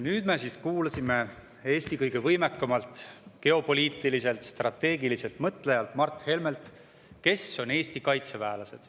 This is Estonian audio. Nüüd me siis kuulsime Eesti kõige võimekamalt geopoliitiliselt strateegiliselt mõtlejalt Mart Helmelt, kes on Eesti kaitseväelased.